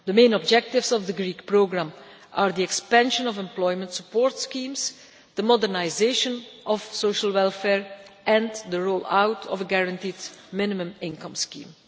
The main objectives of the Greek programme are the expansion of employment support schemes, the modernisation of social welfare and the roll out of a guaranteed minimum income scheme.